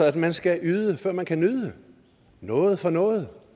at man skal yde før man kan nyde noget for noget